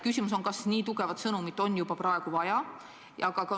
Küsimus on, kas nii tugevat sõnumit on juba praegu vaja.